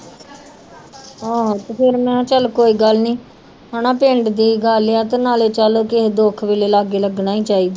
ਆਹੋ ਤੇ ਫਿਰ ਮੈਂ ਕਿਹਾ ਚੱਲ ਕੋਈ ਗੱਲ ਨੀ ਹਨਾ ਪਿੰਡ ਦੀ ਗੱਲ ਆ ਤੇ ਨਾਲੇ ਚੱਲ ਕਿਸੇ ਦੁੱਖ ਵੇਲੇ ਲਾਗੇ ਲੱਗਣਾ ਹੀ ਚਾਹੀਦਾ।